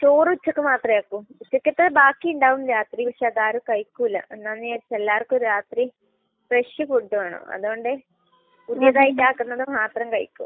ചോറ് ഉച്ചയ്ക്ക് മാത്രമേ ആക്കൂ. ഉച്ചയ്ക്കത്തത് ബാക്കി ഉണ്ടാവും രാത്രി. പക്ഷെ അത് ആരും കഴിക്കൂല. എന്താണെന്ന് വെച്ചാൽ, എല്ലാവർക്കും രാത്രി ഫ്രഷ് ഫുഡ് വേണം. അതുകൊണ്ട് പുതിയതായിട്ട് ആക്കുന്നത് മാത്രമേ കഴിക്കൂ.